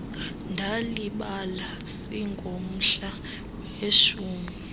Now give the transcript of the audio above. ndalibala singomhla weshumi